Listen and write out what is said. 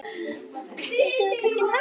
Vildir þú kannski taka hann?